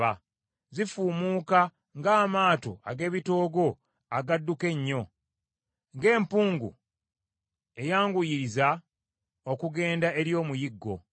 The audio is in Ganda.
Zifuumuuka ng’amaato ag’ebitoogo agadduka ennyo, ng’empungu eyanguyiriza okugenda eri omuyiggo.